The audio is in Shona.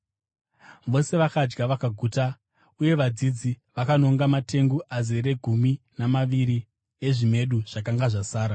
Vose vakadya vakaguta, uye vadzidzi vakanonga matengu azere gumi namaviri ezvimedu zvakanga zvasara.